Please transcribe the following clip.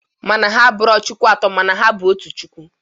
Mana ha abụro chukwu atọ mana ọ bụ otu chukwu.